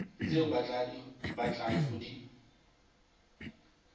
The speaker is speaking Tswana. tse o batlang go di